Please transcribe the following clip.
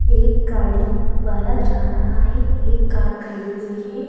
एक गाड़ी वाला जा रहा है एक कार खड़ी हुई है।